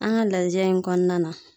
An ga lajɛ in kɔnɔna na